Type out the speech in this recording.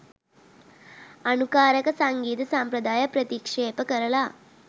අනුකාරක සංගීත සම්ප්‍රදාය ප්‍රතික්‍ෂේප කරලා